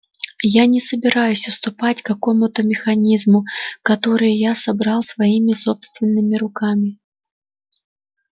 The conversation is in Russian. я не собираюсь уступать какому-то механизму который я собрал своими собственными руками